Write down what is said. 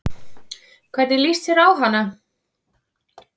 Hvernig lýst þér á hana?